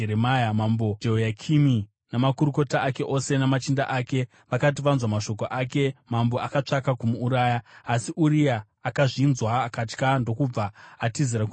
Mambo Jehoyakimi namakurukota ake ose namachinda ake vakati vanzwa mashoko ake, mambo akatsvaka kumuuraya. Asi Uria akazvinzwa akatya ndokubva atizira kuIjipiti.